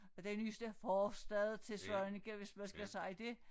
Den nyeste forstad til Svaneke hvis man skal sige det